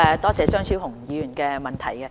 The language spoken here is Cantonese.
多謝張超雄議員的質詢。